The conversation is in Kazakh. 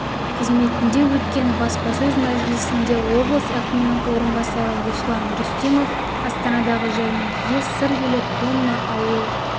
қызметінде өткен баспасөз мәжілісінде облыс әкімінің орынбасары руслан рүстемов астанадағы жәрмеңкеге сыр елі тонна ауыл